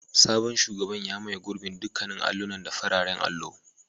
Sabon shugaban ya maye gurbin dukkan allunan da fararen allo.